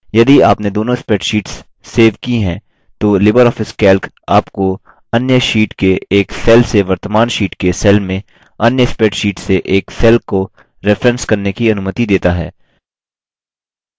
यदि आपने दोनों स्प्रैडशीट्स सेव की हैं तो लिबर ऑफिस कैल्क आपको अन्य शीट के एक सेल से वर्तमान शीट के सेल में अन्य स्प्रैडशीट से एक सेल को रेफरेंस करने की अनुमति देता है